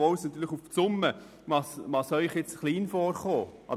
Obwohl Ihnen die Summe vielleicht gering erscheinen mag: